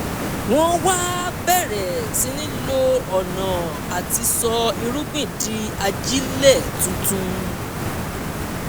wọ́n wá bẹ̀rẹ̀ sí í lo ọ̀nà àti sọ irúgbìn di ajílẹ̀ tuntun